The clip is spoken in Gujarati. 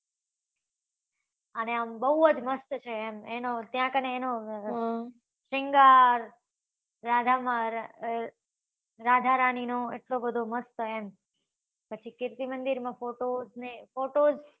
અને આમ બઉ જ મસ્ત છે. એમ એનો ત્યાં કાન એનો શૃંગાર રાધા માં રાધા રાણી નો એટલો બધો એમ પછી કીર્તિ મંદિર નો photo ને photo